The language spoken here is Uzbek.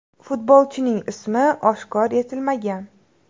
Futbolchining ismi oshkor etilmagan.